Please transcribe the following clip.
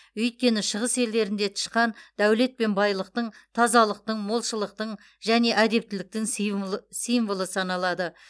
өйткені шығыс елдерінде тышқан дәулет пен байлықтың тазалықтың молшылықтың және әдептіліктің симвлы символы саналады